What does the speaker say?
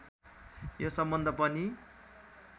यो सम्बन्ध पनि